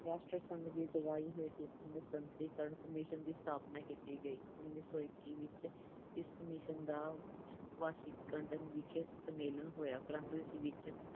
ਰਾਸ਼ਟਰ ਸੰਘ ਦੀ ਅਗਵਾਈ ਹੇਠ ਇੱਕ ਨਿਸ਼ਸਤਰੀਕਰਨ ਕਮਿਸ਼ਨ ਦੀ ਸਥਾਪਨਾ ਕੀਤੀ ਗਈ। ਉਨੀ ਸੌ ਇੱਕੀ ਵਿੱਚ ਇਸ ਕਮਿਸ਼ਨ ਦਾ Washington ਵਿਖੇ ਸੰਮੇਲਨ ਹੋਇਆ ਪ੍ਰੰਤੂ ਇਸ ਸੰਮੇਲਨ ਵਿੱਚ